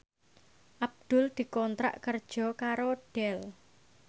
Abdul dikontrak kerja karo Dell